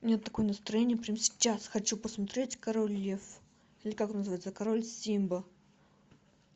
у меня такое настроение прямо сейчас хочу посмотреть король лев или как он называется король симба